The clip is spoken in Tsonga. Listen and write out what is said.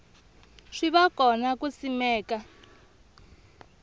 swi va kona ku simeka